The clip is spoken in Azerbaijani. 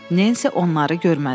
Nensi onları görmədi.